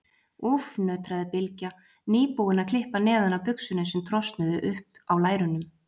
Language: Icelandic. Úff, nötraði Bylgja, nýbúin að klippa neðan af buxunum sem trosnuðu upp á lærunum.